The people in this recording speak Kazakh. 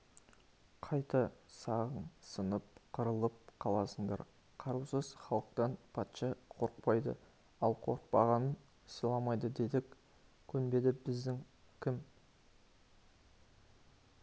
қайта сағың сынып қырылып қаласыңдар қарусыз халықтан патша қорықпайды ал қорықпағанын сыйламайды дедік көнбеді бізің кім